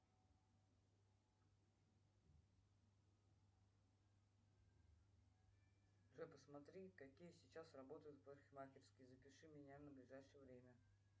джой посмотри какие сейчас работают парикмахерские запиши меня на ближайшее время